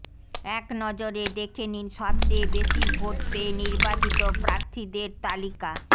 এক নজরে দেখে নিন সবচেয়ে বেশি ভোট পেয়ে নির্বাচিত প্রার্থীদের তালিকা